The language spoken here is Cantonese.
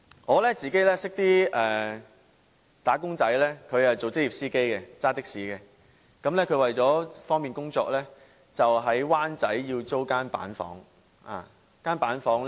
我認識一名"打工仔"，他是職業的士司機，為了方便工作，在灣仔租住板間房。